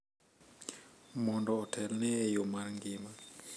mondo otelne e yo mar ngima .